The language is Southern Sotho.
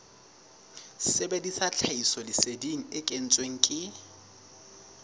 sebedisa tlhahisoleseding e kentsweng ke